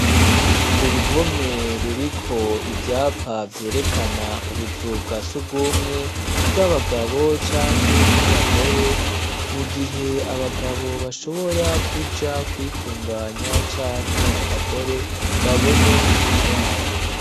Uruhome ruriko ivyapa vyerekana ubuzu bwa sugumwe, bw'abagabo canke bw'abagore, mu gihe abagabo bashobora kuja kwitunganya canke abagore babone inzira yabo.